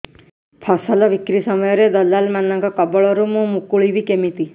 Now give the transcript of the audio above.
ଫସଲ ବିକ୍ରୀ ସମୟରେ ଦଲାଲ୍ ମାନଙ୍କ କବଳରୁ ମୁଁ ମୁକୁଳିଵି କେମିତି